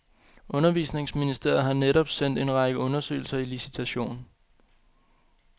Undervisningsministeriet har netop sendt en række undersøgelser i licitation.